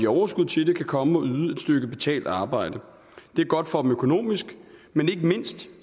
overskud til det kan komme og yde et stykke betalt arbejde det er godt for dem økonomisk men ikke mindst